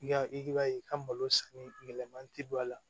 I b'a ye i ka malo sanni yɛlɛman tɛ don a la